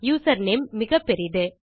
username மிகப்பெரிது